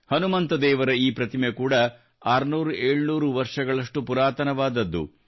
ಹನುಮಂತ ದೇವರ ಈ ಪ್ರತಿಮೆ ಕೂಡ 600700 ವರ್ಷ ಪುರಾತನವಾದದ್ದು